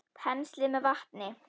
Penslið með vatni.